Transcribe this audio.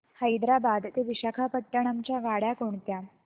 हैदराबाद ते विशाखापट्ण्णम च्या गाड्या कोणत्या